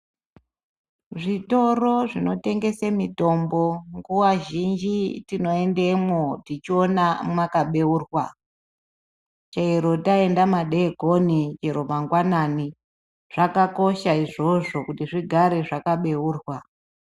Zvitoro zvinotengese mitombo nguwa zhinji tinoendemwo tichiona mwakabeurwa. Chero taenda madekoni chero mangwanani zvakakosha izvozvo kuti zvigare zvakabeurwa.